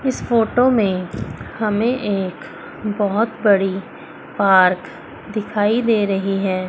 इस फोटो में हमें एक बहुत बड़ी पार्क दिखाई दे रही है।